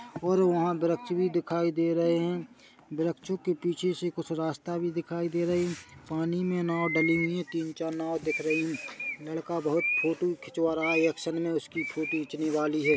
और वहाँ वृक्ष भी दिखाई दे रहे है वृक्षों के पीछे से कुछ रस्ता भी दिखाई दे रही है पानी मे नाव डली हुई है तीन चार नाव दिख रही है लड़का बहुत फोटो खिंचवा रहा है एक्शन मे उसकी फोटो खिंचनी वाली है।